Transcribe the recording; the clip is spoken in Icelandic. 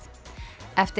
eftir